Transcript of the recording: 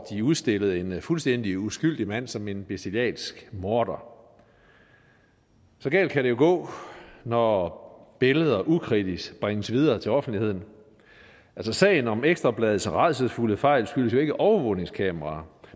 de udstillede en fuldstændig uskyldig mand som en bestialsk morder så galt kan det jo gå når billeder ukritisk bringes videre til offentligheden sagen om ekstra bladets rædselsfulde fejl skyldtes jo ikke overvågningskameraer